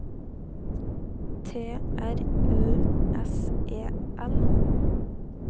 T R U S E L